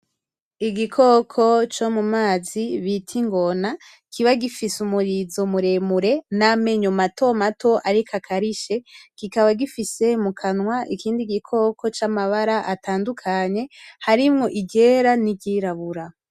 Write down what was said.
Igikoko co mu mazi bita ingona, kiba gifise umurizo muremure namenyo mato mato ariko akarishe. Kikaba gifise mukanwa ikindi gikoko camabara atandukanye harimwo iryera niryirabura.